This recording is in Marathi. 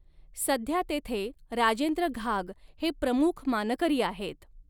सध्या तेथे राजे॑द्र घाग हे प्रमुख मानकरी आहेत.